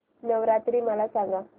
नवरात्री मला सांगा